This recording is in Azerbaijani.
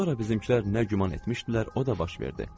Sonra bizimkilər nə güman etmişdilər, o da baş verdi.